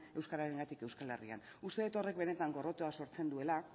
euskararengatik euskal herrian uste dut horrek benetan gorrotoa sortzen duela